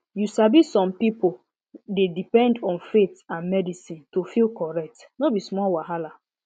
you sabi some pipo dey depend on faith and medicine to feel correct no be small wahala